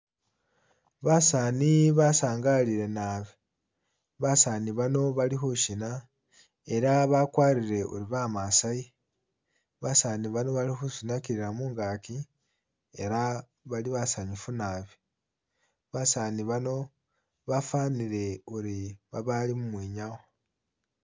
Basani basangalile naabi, basani bano bali khushina ela bagwarile uri bamasayi basani bano bali khusunagilila mungagi ela bali basanyufu naabi, basani bano bafanile uri babali mumwinyawo